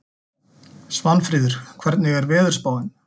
Svanfríður, hvernig er veðurspáin?